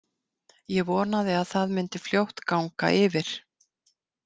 Ég vonaði að það myndi fljótt ganga yfir.